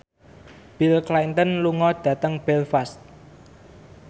Bill Clinton lunga dhateng Belfast